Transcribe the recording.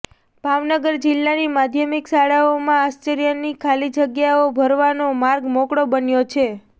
ભાવનગર જિલ્લાની માધ્યમિક શાળાઓમાં આચાર્યની ખાલી જગ્યાઓ ભરવાનો માર્ગ મોકળો બન્યો છે